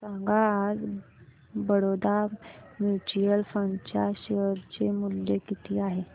सांगा आज Baroda mutual fund च्या शेअर चे मूल्य किती आहे